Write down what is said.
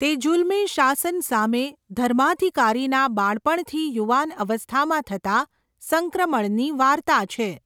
તે જુલમી શાસન સામે ધર્માધિકારીના બાળપણથી યુવાન અવસ્થામાં થતા સંક્રમણની વાર્તા છે.